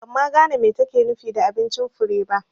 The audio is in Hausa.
Ban ma gane me take nufi da abincin Fure ba